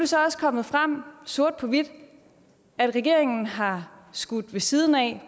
så også kommet frem sort på hvidt at regeringen har skudt ved siden af